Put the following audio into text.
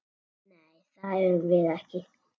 Nei, það erum við.